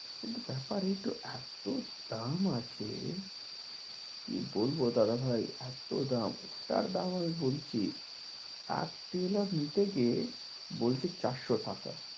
কিন্তু ব্যাপার এই তো এতো দাম আছে কি বলবো দাদাভাই এতো দাম ওটার দাম আমি বলছি এক টেলর নিতে গিয়ে বলছে চারশো টাকা